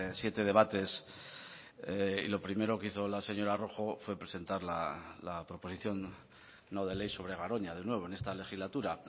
siete debates y lo primero que hizo la señora rojo fue presentar la proposición no de ley sobre garoña de nuevo en esta legislatura